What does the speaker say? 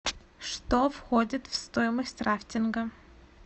что входит в стоимость рафтинга